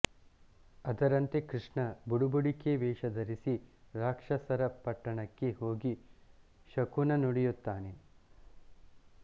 ಅದರಂತೆ ಕೃಷ್ಣ ಬುಡುಬುಡಿಕೆ ವೇಷ ಧರಿಸಿ ರಾಕ್ಷಸರ ಪಟ್ಟಣಕ್ಕೆ ಹೋಗಿ ಶಕುನ ನುಡಿಯುತ್ತಾನೆ